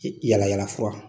Yalayala fura